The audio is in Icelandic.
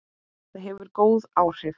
Það hefur ekki góð áhrif.